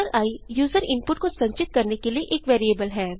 i user input को संचित करने के लिए एक वेरिएबल है